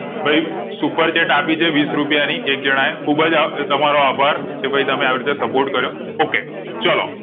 ભાઈ super chat આપી છે વિશ રૂપિયા ની એક જણાએ ખુબ અ તમારો આભાર કે ભાઈ તમે એવીરીતે support કર્યો okay ચલો